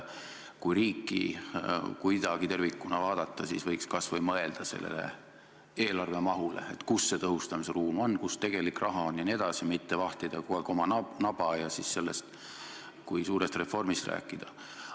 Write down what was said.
Kui riiki kuidagi tervikuna vaadata, siis võiks kas või mõelda sellele eelarve mahule, et kus see tõhustamise ruum on, kus tegelik raha on jne, ei ole vaja vahtida kogu aeg oma naba ja siis sellest kui suurest reformist rääkida.